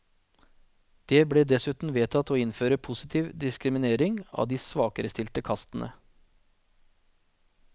Det ble dessuten vedtatt å innføre positiv diskriminering av de svakerestilte kastene.